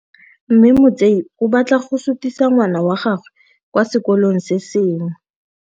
Mme Motsei o batla go sutisa ngwana wa gagwe kwa sekolong se sengwe.